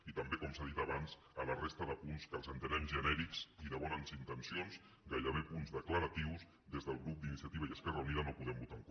i també com s’ha dit abans de la resta de punts que els entenem genèrics i de bones intencions gairebé punts declaratius des del grup d’iniciativa i esquerra unida no hi podem votar en contra